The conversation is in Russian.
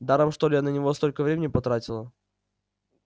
даром что ли я на него столько времени потратила